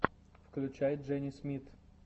включай джени смит